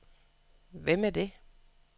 Hvem er det